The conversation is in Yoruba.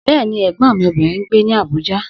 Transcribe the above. Bẹ́ẹ̀ni, Ẹ̀gbọ́n mi obìnrin ń gbé ní Abuja.